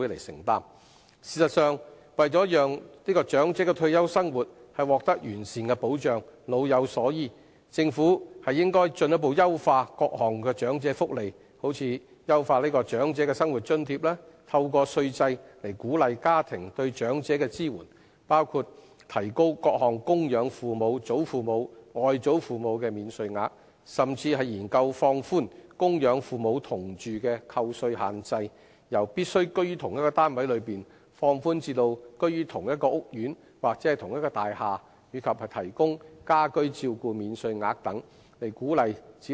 事實上，為讓長者退休生活獲得完善的保障，老有所依，政府應進一步優化各項長者福利，例如優化長者生活津貼；透過稅制以鼓勵家庭對長者的支援，包括提高各項供養父母、祖父母及外祖父母的免稅額，甚至研究放寬供養父母同住的扣稅限制，由必須居於同一單位內，放寬至居於同一屋苑或同一大廈，以及提供家居照顧免稅額等，以鼓勵子女照顧父母。